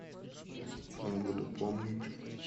буду помнить